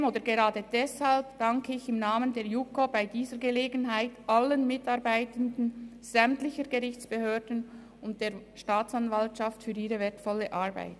Trotzdem oder gerade deshalb danke ich im Namen der JuKo bei dieser Gelegenheit allen Mitarbeitenden sämtlicher Gerichtsbehörden und der Staatsanwaltschaft für ihre wertvolle Arbeit.